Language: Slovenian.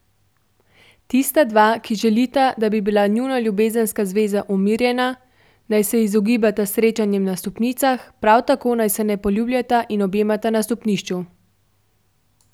Tista dva, ki želita, da bi bila njuna ljubezenska zveza umirjena, naj se izogibata srečanjem na stopnicah, prav tako naj se ne poljubljata in objemata na stopnišču.